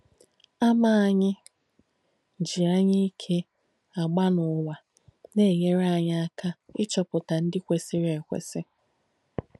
Àmà ànyì jì ànyáìke àgbā n’ùwà nà-ènyére ànyì àka ìchọ̀pūtà ndí kwèsìrī èkwēsì.